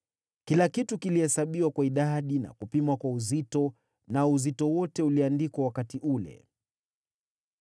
Kila kitu kilihesabiwa kwa idadi na kupimwa kwa uzito, nao uzito wote uliandikwa wakati ule.